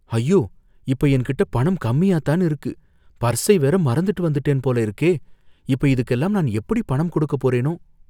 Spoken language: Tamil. அய்யோ! இப்ப என்கிட்ட பணம் கம்மியாதான் இருக்கு, பர்ஸை வேற மறந்துட்ட்டு வந்துட்டேன் போல இருக்கே. இப்ப இதுக்கெல்லாம் நான் எப்படி பணம் கொடுக்க போறேனோ?